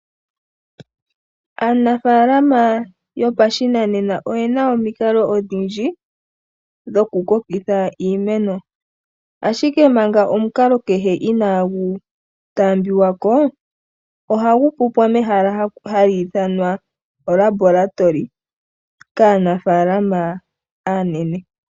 Aanafaalama yopashinanena oye na omikalo odhindji dhokukokeka iimeno. Ashike manga omukalo kehe inaagu taambiwa ko. Ohagu pupwa mehala hali ithanwa olabolatoli kaanafaalama aanene.